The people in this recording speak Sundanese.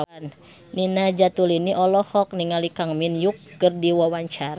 Nina Zatulini olohok ningali Kang Min Hyuk keur diwawancara